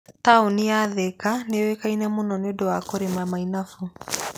Taũni ya Thika nĩ ĩũĩkaine mũno nĩ ũndũ wa kũrĩma mainafũ.